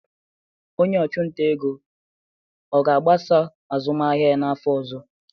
Onye ọchụnta ego ọ ga-agbasa azụmahịa ya n'afọ ọzọ?